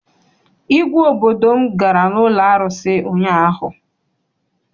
Igwe obodo m gara n'ụlọ arụsị ụnyaahụ.